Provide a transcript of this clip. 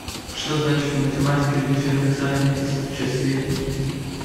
что значит в математике дифференциальное исчисление